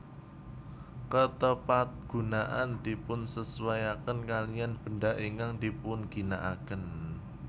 Ketepatgunaan dipunsesuaiaken kaliyan benda ingkang dipunginakaken